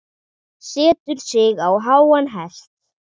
Setur sig á háan hest.